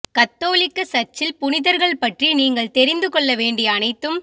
கத்தோலிக்க சர்ச்சில் புனிதர்கள் பற்றி நீங்கள் தெரிந்து கொள்ள வேண்டிய அனைத்தும்